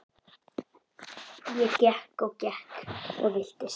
Ég gekk og gekk og villtist.